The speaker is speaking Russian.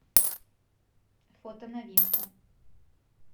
фото новинка